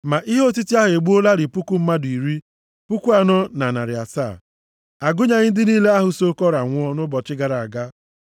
Ma ihe otiti ahụ egbuolarị puku mmadụ iri, puku anọ na narị asaa (14,700). A gụnyeghị ndị niile ahụ so Kora nwụọ nʼụbọchị gara aga.